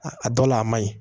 A dɔ la a ma ɲi